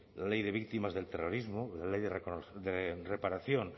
la ley de víctimas del terrorismo la ley de reparación